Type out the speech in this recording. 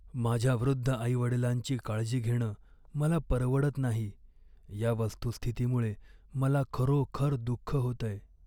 माझ्या वृद्ध आईवडिलांची काळजी घेणं मला परवडत नाही या वस्तुस्थितीमुळे मला खरोखर दुःख होतंय.